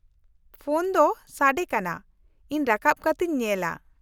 -Phone ᱫᱚ ᱥᱟᱰᱮ ᱠᱟᱱᱟ, ᱤᱧ ᱨᱟᱠᱟᱵ ᱠᱟᱛᱤᱧ ᱧᱮᱞᱼᱟ ᱾